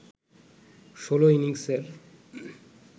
১৬ ইনিংসের